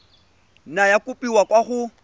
nna ya kopiwa kwa go